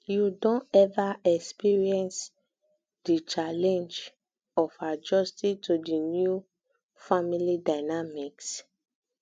you don ever experience um di challenge um of adjusting to di new um family dynamics